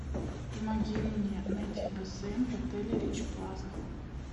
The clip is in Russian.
помоги мне найти бассейн в отеле рич плаза